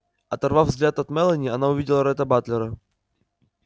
оторвав взгляд от мелани она увидела ретта батлера